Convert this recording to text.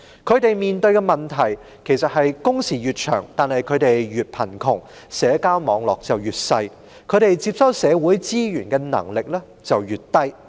他們面對的問題是，工時越長反而令他們越貧窮、社交網絡越小、接收社會資源的能力也越低。